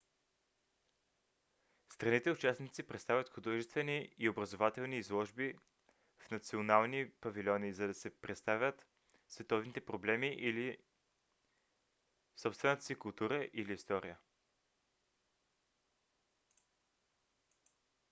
страните-участници представят художествени и образователни изложби в национални павилиони за да представят световните проблеми или собствената си култура или история